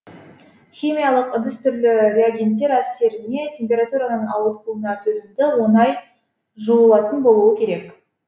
химиялық ыдыс түрлі реагенттер әсеріне температураның ауытқуына төзімді оңай жуылатын болуы керек